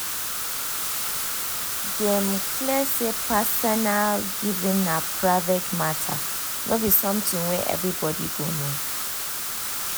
dem clear say personal giving na private matter no be something wey everybody go know.